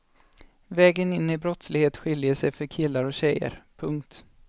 Vägen in i brottslighet skiljer sig för killar och tjejer. punkt